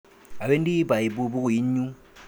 Awendi baibu bukuinyu.